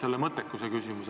Ehk mõttekuse küsimus.